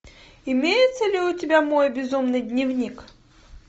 имеется ли у тебя мой безумный дневник